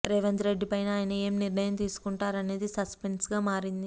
రేవంత్ రెడ్డి పైన ఆయన ఏం నిర్ణయం తీసుకుంటారనిదే సస్పెన్స్గా మారింది